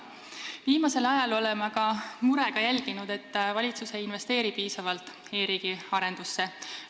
Viimasel ajal oleme aga murega jälginud, et valitsus ei investeeri piisavalt e-riigi arendusse.